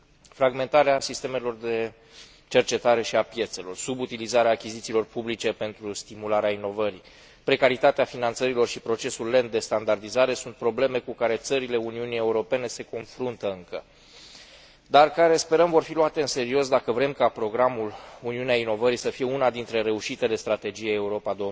Fragmentarea sistemelor de cercetare și a piețelor, subutilizarea achizițiilor publice pentru stimularea inovării, precaritatea finanțărilor și procesul lent de standardizare sunt probleme cu care țările Uniunii Europene se confruntă încă, dar care, sperăm, vor fi luate în serios, dacă vrem ca programul Uniunea inovării să fie una dintre reușitele strategiei Europa